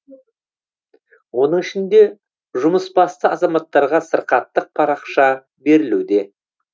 оның ішінде жұмысбасты азаматтарға сырқаттық парақша берілуде